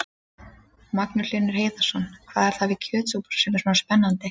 Magnús Hlynur Hreiðarsson: Hvað er það við kjötsúpuna sem er svona spennandi?